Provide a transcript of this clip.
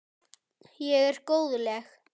Ég er góðleg.